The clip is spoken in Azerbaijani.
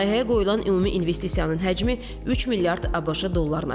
Layihəyə qoyulan ümumi investisiyanın həcmi 3 milyard ABŞ dollarına çatıb.